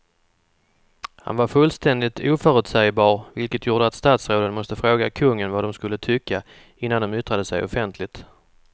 Han var fullständigt oförutsägbar vilket gjorde att statsråden måste fråga kungen vad de skulle tycka innan de yttrade sig offentligt.